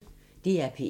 DR P1